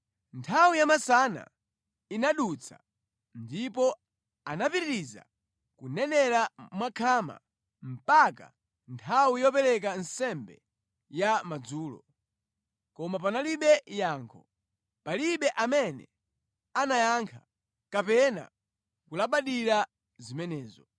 Nthawi yamasana inadutsa, ndipo anapitiriza kunenera mwakhama mpaka nthawi yopereka nsembe ya madzulo. Koma panalibe yankho. Palibe amene anayankha, kapena kulabadira zimenezo.